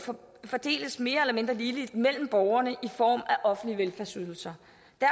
fordeles mere eller mindre ligeligt mellem borgerne i form af offentlige velfærdsydelser